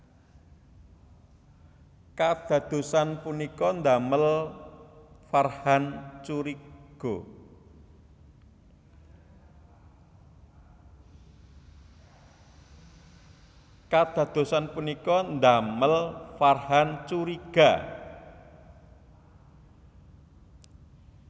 Kadadosan punika ndamel Farhan curiga